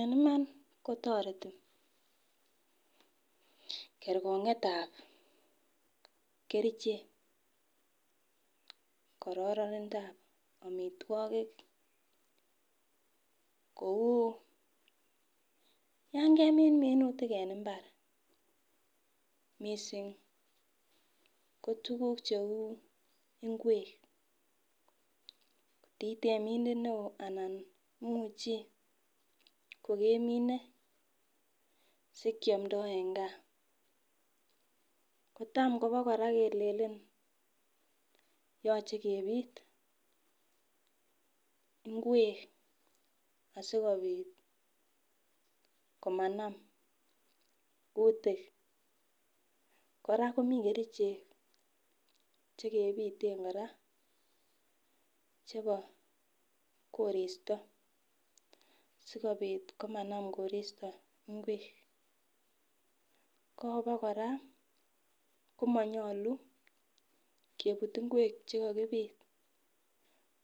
En iman kotoreti kerkong'etab kerichek kororindap omitwogik kou yon kemin minutik en mbar missing' ko tuguk cheu ikwek. Itemindet neo anan imuche kokemine sikiomdo en gaa. Kotam koba kora kelelen yoche kebit inkwek asikopit komanam kutik kora komi kerichek chekebiten kora chebo koristo sikobit komanam koristo inkwek. Ko obokora komonyolu kebut inkwek chekokibit